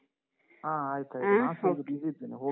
ಹಾ, ಆಯ್ತಾಯ್ತು .